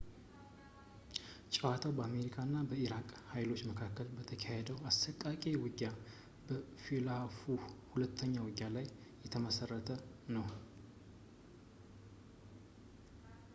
ጨዋታው በአሜሪካ እና በኢራቅ ኃይሎች መካከል በተካሄደው አሰቃቂ ውጊያ በ fallujah ሁለተኛ ውጊያ ላይ የተመሠረተ ነው